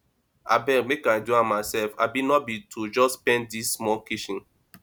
abeg make i do am myself abi no be to just paint dis small kitchen